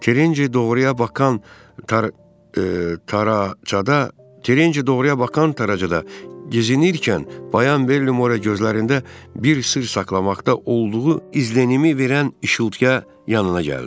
Terinci doğruya bakan taracada gəzinərkən Bayan Bellimorenin gözlərində bir sirr saxlamaqda olduğu izlənimini verən işıltıya yanına gəldi.